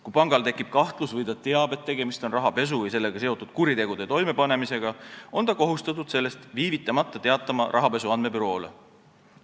Kui pangal tekib kahtlus või ta teab, et tegemist on rahapesu või sellega seotud kuritegude toimepanemisega, on ta kohustatud sellest viivitamata teatama rahapesu andmebüroole.